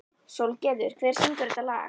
Sólgerður, hver syngur þetta lag?